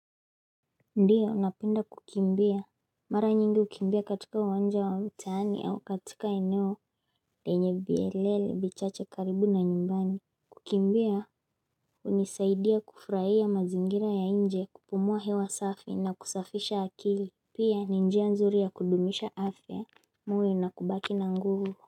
Ndiyo napinda kukimbia Mara nyingi hukimbia katika uwanja wa mtaani au katika eneo lenye vielele vichache karibu na nyumbani Kukimbia hunisaidia kufurahia mazingira ya nje kupumua hewa safi na kusafisha akili Pia ni njia nzuri ya kudumisha afya moyo na kubaki na nguvu.